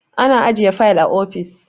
ana ajiye fayil a ofis